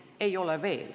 Veel ei ole.